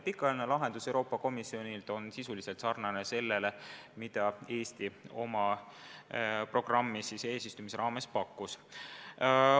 Pikaajaline Euroopa Komisjoni pakutud lahendus on sisuliselt sarnane sellega, mida Eesti oma programmis eesistumise ajal pakkus.